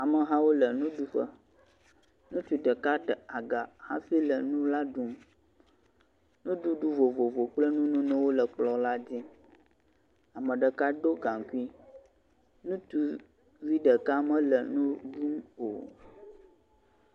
Amehawo le nuɖuƒe, nutsuvi ɖeka ɖe aga hafi le nu la ɖum, nuɖuɖu vovovo kple nunonowo le kplɔ la dzi. Ame ɖeka do gaŋkui, ŋutsuvi ɖeka mele nu la o.